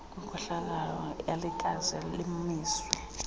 lenkohlakalo alikaze limiswe